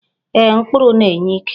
Ee, mkpụrụ na-enye ike.